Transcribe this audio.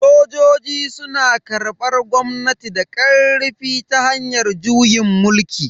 Sojoji suna karbar gwamnati da karfi ta hanyar juyin mulki.